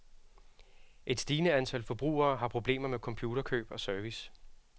Et stigende antal forbrugere har problemer med computerkøb og service.